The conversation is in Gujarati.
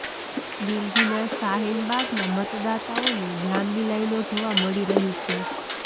દિલ્હીના શાહિન બાગમાં મતદાતાઓની લાંબી લાઈનો જોવા મળી રહી છે